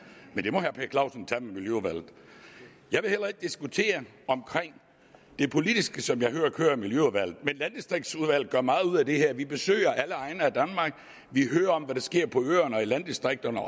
men det må herre per clausen tage med miljøudvalget jeg vil heller ikke diskutere det politiske som jeg hører kører i miljøudvalget men landdistriktsudvalget gør meget ud af det her vi besøger alle egne af danmark og vi hører om hvad der sker på øerne og i landdistrikterne